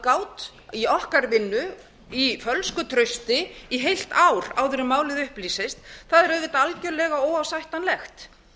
aðgát í okkar vinnu í fölsku trausti í heilt ár áður en málið upplýsist er auðvitað algjörlega óásættanlegt